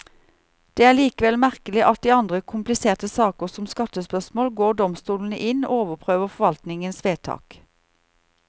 Det er likevel merkelig at i andre kompliserte saker, som skattespørsmål, går domstolene inn og overprøver forvaltningens vedtak.